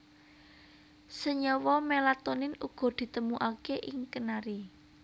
Senyawa melatonin uga ditemokaké ing kenari